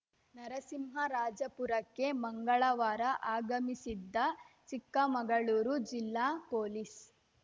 ನರಸಿಂಹರಾಜಪುರಕ್ಕೆ ಮಂಗಳವಾರ ಆಗಮಿಸಿದ್ದ ಚಿಕ್ಕಮಗಳೂರು ಜಿಲ್ಲಾ ಪೊಲೀಸ್‌